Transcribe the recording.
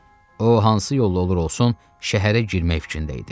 O hansı yolla olur olsun, şəhərə girmək fikrində idi.